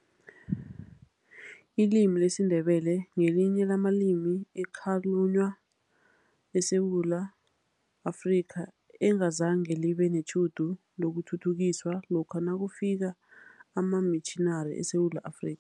Ilimi lesiNdebele ngelinye lamalimi ekhalunywa eSewula Afrika, engazange libe netjhudu lokuthuthukiswa lokha nakufika amamitjhinari eSewula Afri